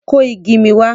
Kó igi mi wá!